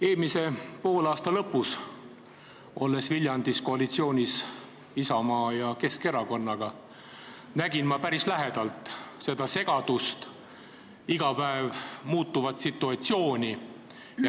Eelmise poolaasta lõpus, olles Viljandis koalitsioonis Isamaa ja Keskerakonnaga, nägin ma päris lähedalt seda segadust, iga päev muutuvat situatsiooni.